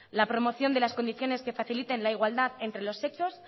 la promoción de las condiciones que faciliten la igualdad entre los sexos